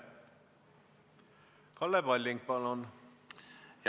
Kalle Palling, palun!